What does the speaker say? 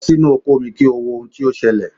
Lọ sínú oko mi kí o wo ohun tí ó ṣẹlẹ̀.!